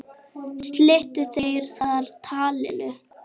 Slitu þeir þar talinu.